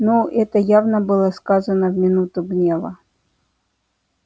ну это явно было сказано в минуту гнева